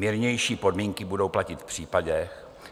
Mírnější podmínky budou platit v